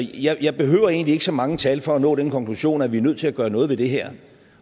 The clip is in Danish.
jeg behøver egentlig ikke så mange tal for at nå den konklusion at vi er nødt til at gøre noget ved det her